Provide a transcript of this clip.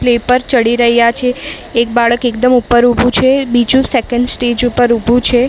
પર ચડી રહ્યા છે એક બાળક એકદમ ઉપર ઊભું છે બીજું સેકન્ડ સ્ટેજ ઉપર ઊભું છે.